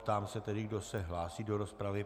Ptám se tedy, kdo se hlásí do rozpravy.